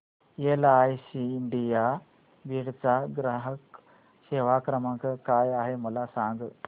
LIC India Beed चा ग्राहक सेवा क्रमांक काय आहे मला सांग